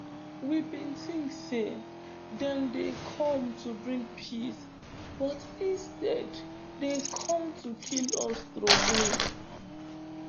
we bin tink say dem dey come to bring peace but instead dem come to kill us trowey